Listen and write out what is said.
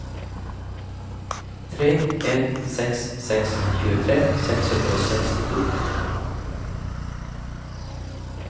tre en seks seks tjuetre seks hundre og sekstito